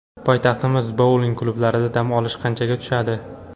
Poytaxtimiz bouling klublarida dam olish qanchaga tushadi?